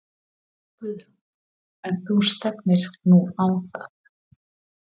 Guðrún: En þú stefnir nú á það?